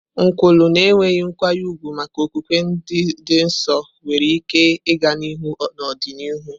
Nkwulu na enweghị nkwanye ùgwù maka okwukwe dị nsọ nwere ike ịga n'ihu n'ọdịnihu.